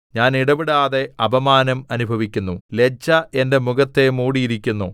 ഞാൻ ഇടവിടാതെ അപമാനം അനുഭവിക്കുന്നു ലജ്ജ എന്റെ മുഖത്തെ മൂടിയിരിക്കുന്നു